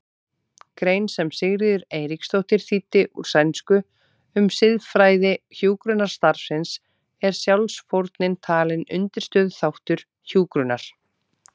grein sem Sigríður Eiríksdóttir þýddi úr sænsku um siðfræði hjúkrunarstarfsins er sjálfsfórnin talin undirstöðuþáttur hjúkrunar.